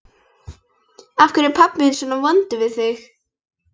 Af hverju er pabbi þinn svona vondur við þig?